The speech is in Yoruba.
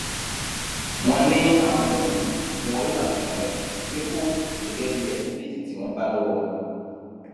wọn ní àwọn ẹrú yìí ni wọn yóò ṣàfihàn rẹ ní kóòtù gẹgẹ bíi ẹsíbẹìtì tí wọn bá lọwọ wọn